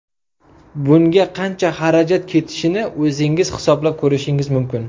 Bunga qancha xarajat ketishini o‘zingiz hisoblab ko‘rishingiz mumkin.